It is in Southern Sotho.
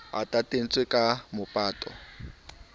a tantetswe ka mabota a